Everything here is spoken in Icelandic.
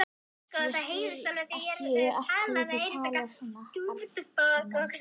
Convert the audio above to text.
Ég skil ekki af hverju þú talar svona, Arnar minn.